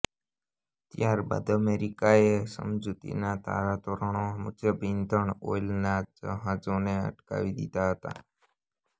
ત્યારબાદ અમેરિકાએ સમજૂતીના ધારાધોરણો મુજબ ઇંધણ ઓઇલના જહાજોને અટકાવી દીધા હતા